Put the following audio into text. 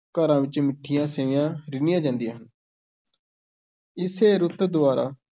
ਘਰਾਂ ਵਿੱਚ ਮਿੱਠੀਆਂ ਸੇਵੀਆਂ ਰਿੰਨ੍ਹੀਆਂ ਜਾਂਦੀਆਂ ਹਨ ਇਸੇ ਰੁੱਤ ਦੁਆਰਾ